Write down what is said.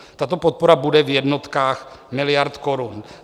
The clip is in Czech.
Tato podpora bude v jednotkách miliard korun.